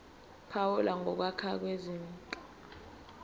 phawula ngokwake kwenzeka